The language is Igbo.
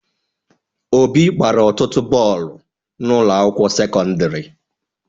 Obi gbara ọtụtụ bọọlụ na ụlọ akwụkwọ sekọndrị